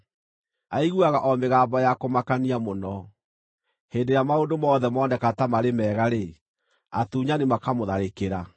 Aiguaga o mĩgambo ya kũmakania mũno; hĩndĩ ĩrĩa maũndũ mothe moneka ta marĩ mega-rĩ, atunyani makamũtharĩkĩra.